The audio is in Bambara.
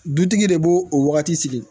Dutigi de b'o o wagati sigi